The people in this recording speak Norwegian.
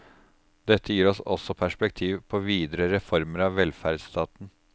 Dette gir også perspektiv på videre reformer av velferdsstaten.